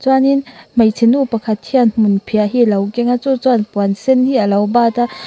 chuanin hmeichhe nu pakhat hian hmunphiah hi alo kenga chu chuan puan sen hi alo bat a.